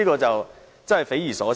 真是匪夷所思。